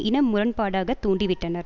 இன முரண்பாடாக தூண்டிவிட்டனர்